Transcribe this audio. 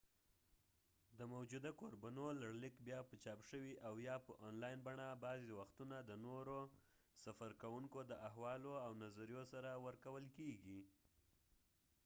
د موجودو کوربنو لړلیک بیا په چاپ شوي او یا په اونلاین بڼه بعضی وختونه د نورو سفرکوونکو د حوالو او نظریو سره ورکول کیږي